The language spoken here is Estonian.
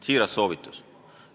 Siiras soovitus!